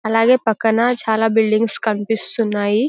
అలాగే పక్కన చాలా బిల్డింగ్స్ కనిపిస్తున్నాయి.